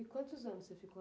E quantos anos você ficou lá?